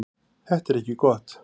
Þetta er ekki gott.